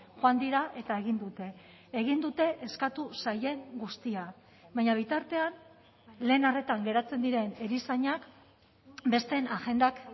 joan dira eta egin dute egin dute eskatu zaien guztia baina bitartean lehen arretan geratzen diren erizainak besteen agendak